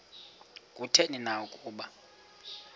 kutheni na ukuba